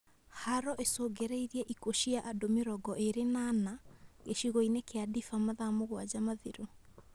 Haro icũngĩrĩirie ikuũ cia andũ mĩrongo ĩrĩ na ana, gĩcigo-inĩ kia Daefur mathaa mũgwanja mathiru